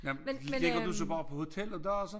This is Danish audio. Nej ligger du så bare på hotel og daser